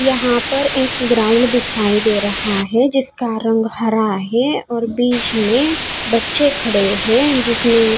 यहां पर एक ग्राउंड दिखाई दे रहा है जिसका रंग हरा है और बीच में बच्चे खड़े हैं जिसने--